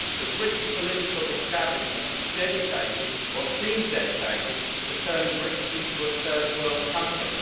The British political establishment is dedicated or seems dedicated to turning Britain into a third world country.